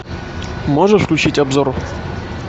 можешь включить обзор